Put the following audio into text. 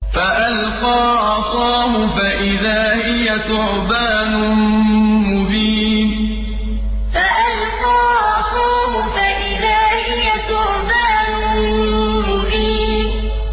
فَأَلْقَىٰ عَصَاهُ فَإِذَا هِيَ ثُعْبَانٌ مُّبِينٌ فَأَلْقَىٰ عَصَاهُ فَإِذَا هِيَ ثُعْبَانٌ مُّبِينٌ